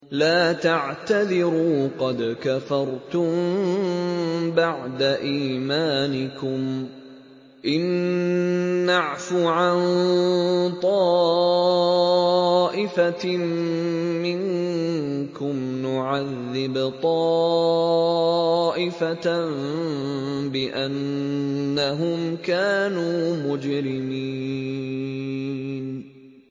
لَا تَعْتَذِرُوا قَدْ كَفَرْتُم بَعْدَ إِيمَانِكُمْ ۚ إِن نَّعْفُ عَن طَائِفَةٍ مِّنكُمْ نُعَذِّبْ طَائِفَةً بِأَنَّهُمْ كَانُوا مُجْرِمِينَ